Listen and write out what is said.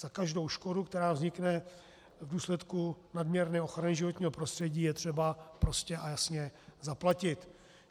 Za každou škodu, která vznikne v důsledku nadměrné ochrany životního prostředí, je třeba prostě a jasně zaplatit.